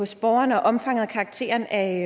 til borgerne og omfanget af og karakteren af